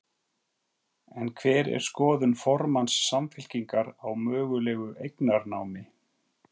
En hver er skoðun formanns Samfylkingar á mögulegu eignarnámi?